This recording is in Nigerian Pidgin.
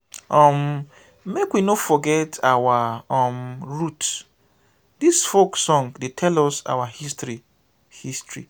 um make we no forget our um root dis folk song dey tell us our history. history.